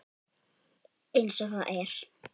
Eins og það er.